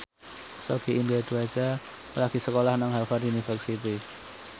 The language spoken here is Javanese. Sogi Indra Duaja lagi sekolah nang Harvard university